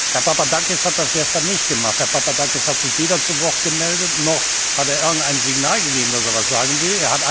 Herr Papadakis hat das gestern nicht gemacht. Herr Papadakis hat sich weder zu Wort gemeldet, noch hat er irgendein Signal gegeben, dass er etwas sagen will.